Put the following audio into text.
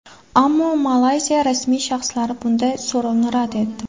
Ammo Malayziya rasmiy shaxslari bunday so‘rovni rad etdi.